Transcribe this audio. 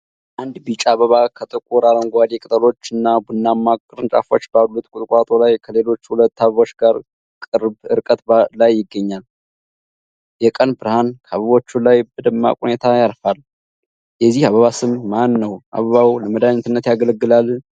አንድ ቢጫ አበባ ከጥቁር አረንጓዴ ቅጠሎችና ቡናማ ቅርንጫፎች ባሉት ቁጥቋጦ ላይ ከሌሎች ሁለት አበቦች ጋር ቅርብ ርቀት ላይ ይገኛል። የቀን ብርሃን ከአበቦቹ ላይ በደማቅ ሁኔታ ያርፋል። የዚህ አበባ ስም ማን ነው? አበባው ለመድኃኒትነት ያገለግላል?